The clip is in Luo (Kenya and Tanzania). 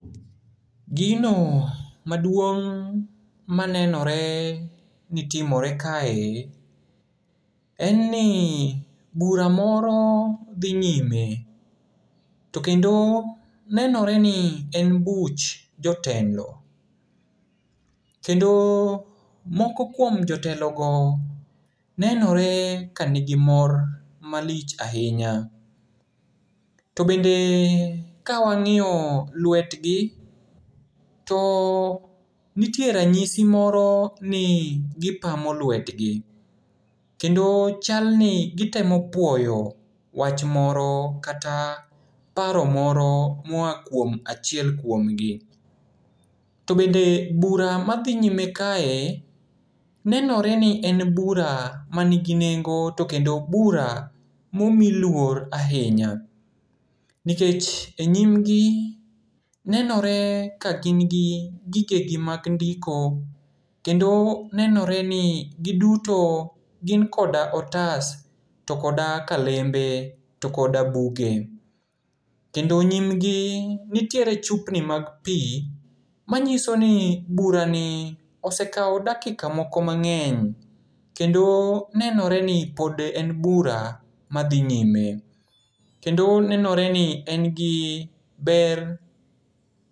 Gino maduong' manenore nitimore kae, en ni bura moro dhi nyime. To kendo, nenoreni en buch jotelo. Kendo moko kuom jotelogo nenore ka nigi mor malich ahinya. To bende kawang'iyo lwetgi, to nitie ranyisi moro ni gipamo lwetgi, kendo chalni gitemo puoyo wach moro kata paro moro mua kuom achiel kuomgi. To bende bura madhi nyime kae, nenoreni ni en bura maningi nengo, to kendo bura momi luor ahinya. Nikech e nyimgi, nenore ka gin gi gigegi mag ndiko, kendo nenoreni giduto gin koda otas to koda kalembe to koda buge. Kendo nyimgi nitiere chupni mag pii, manyisoni burani osekao dakika moko mang'eny, kendo nenoreni pod en bura madhi nyime. Kendo nenoreni en gi ber.